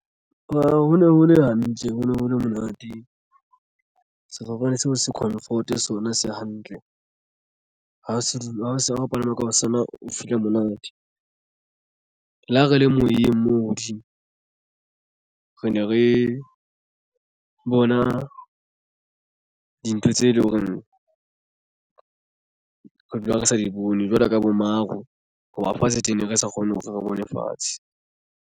Ho ne ho le hantle ho ne ho le monate sefofane seo se comfort sona se hantle ha se di ho se ho palama ka ho sona o feel-a monate le ha re le moyeng moo hodimo re ne re bona dintho tse leng hore re dula re sa di bone jwalo ka bo maru hoba fatshe teng re sa kgone hore re bone fatshe.